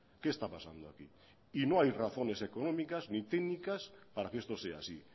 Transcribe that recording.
qué está pasando aquí y no hay razones económicas ni técnicas para que esto sea así